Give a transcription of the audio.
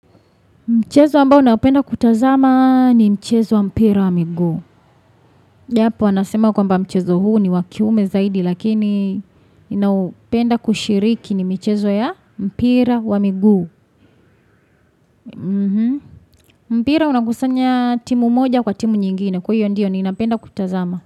Mchezo ambao naupenda kutazama ni mchezo wa mpira wa miguu. Japo, wanasema kwamba mchezo huu ni wa kiume zaidi, lakini ninaupenda kushiriki ni michezo ya mpira wa miguu. Mpira unakusanya timu moja kwa timu nyingine, kwa hiyo ndiyo niinapenda kutazama.